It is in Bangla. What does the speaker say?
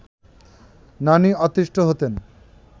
নানি অতিষ্ঠ হতেন